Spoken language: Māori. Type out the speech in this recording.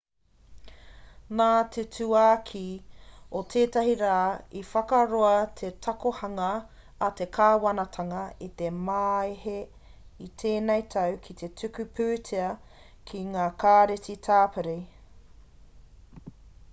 nā te tauākī o tēnei rā i whakaroa te takohanga a te kāwanatanga i te māehe i tēnei tau ki te tuku pūtea ki ngā kāreti tāpiri